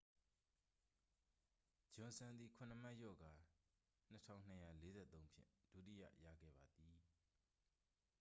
ဂျွန်စန် သည် ခုနစ်မှတ်လျော့ကာ 2,243 ဖြင့် ဒုတိယရခဲ့ပါသည်